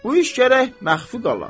Bu iş gərək məxfi qala.